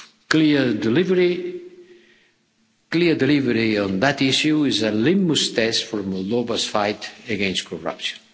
Clear delivery on that issue is a litmus test for Moldova's fight against corruption.